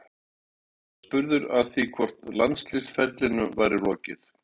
Eiður var spurður að því hvort landsliðsferlinum væri lokið?